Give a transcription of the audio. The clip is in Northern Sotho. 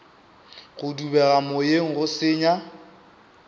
go dubega moyeng go senya